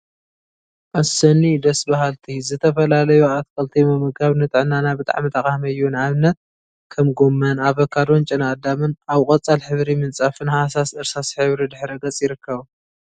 አሰኒ ደስ በሃልቲ !ዝተፈላለዩ አትክልቲ ምምጋብ ንጥዕናና ብጣዕሚ ጠቃሚ እዩ፡፡ ንአብነት ከም ጎመን፣ አቨካዶን ጨና አዳምን አብ ቆፃል ሕብሪ ምንፃፍን ሃሳስ እርሳስ ሕብሪ ድሕረ ገፅ ይርከቡ፡፡